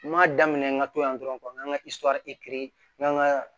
N m'a daminɛ n ka to yan dɔrɔn n kan ka n kan ka